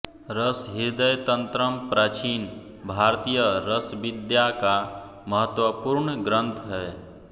रसहृदयतन्त्रम् प्राचीन भारतीय रसविद्या का महत्वपूर्ण ग्रंथ है